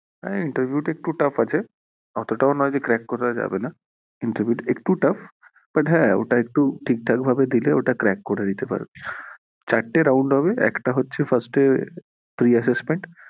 হ্যাঁ interview টা একটু tough আছে অতোটা ও না যে crack করা যাবে না, interview টা একটু tough but হ্যাঁ ওটা একটু ঠিকঠাক ভাবে দিলে ওটা crack করে দিতে পারবে, চারটে round হবে একটা হচ্ছে first এ pre-assessment